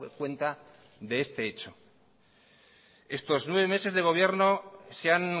cuenta de este hecho estos nueve meses de gobierno se han